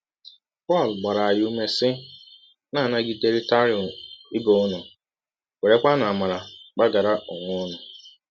Pọl gbara anyị ụme, sị: “ Na - anagiderịtanụ ibe ụnụ, werekwanụ amara gbaghara ọnwe ụnụ. ”